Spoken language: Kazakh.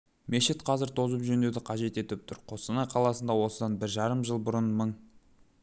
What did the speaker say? мешіт қазір тозып жөндеуді қажет етіп тұр қостанай қаласында осыдан бір жарым жыл бұрын мың